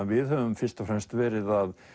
við höfum fyrst og fremst verið að